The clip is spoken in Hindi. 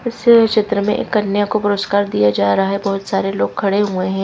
इस चित्र में एक कन्या को पुरस्कार दिया जा रहा है बहुत सारे लोग खड़े हुए हैं।